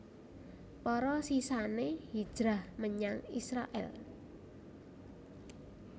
Para sisané hijrah menyang Israèl